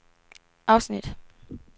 afsnit